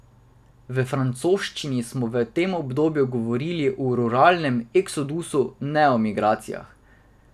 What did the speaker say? V francoščini smo v tem obdobju govorili o ruralnem eksodusu, ne o migracijah.